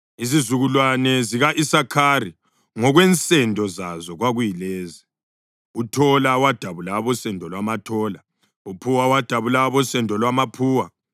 Izizukulwane zika-Isakhari ngokwensendo zazo kwakuyilezi: uThola wadabula abosendo lwamaThola; uPhuwa wadabula abosendo lwamaPhuwa;